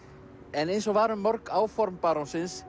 en eins og var um mörg áform